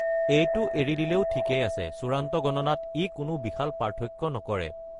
এইটো এৰি দিলেও ঠিকেই আছে; চূড়ান্ত গণনাত ই কোনো বিশাল পাৰ্থক্য নকৰে।